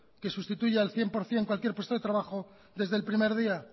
que sustituya al cien por ciento cualquier puesto de trabajo desde el primer día